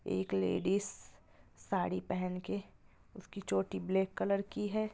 एक लेडिज साडी पहन के उसकी चोटी ब्लैक कलर की है।